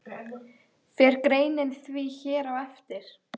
Fer greinin því hér á eftir.